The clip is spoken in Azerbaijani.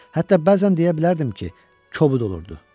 Hətta bəzən deyə bilərdim ki, kobud olurdu.